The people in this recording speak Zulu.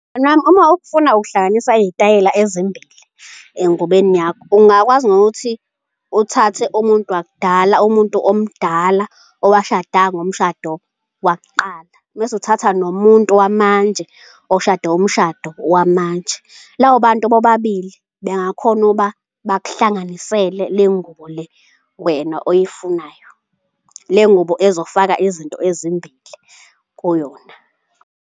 Mngani wami uma ufuna ukuhlanganisa iy'tayela ezimbili engubeni yakho, ungakwazi nokuthi uthathe umuntu wakudala, umuntu omdala owashada ngomshado wakuqala mese uthatha nomuntu wamanje oshade umshado wamanje. Labo bantu bobabili bengakhona ukuba bakuhlanganisele le ngubo le wena oyifunayo, le ngubo ezofaka izinto ezimbili kuyona.